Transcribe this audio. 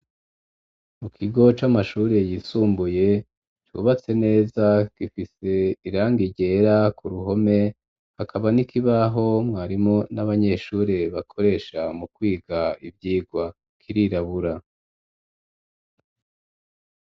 Mu kigo c'amashuri yisumbuye cubatse neza gifise irangi ryera ku ruhome, hakaba n'ikibaho mwarimu n'abanyeshuri bakoresha mu kwiga ivyigwa, kirirabura.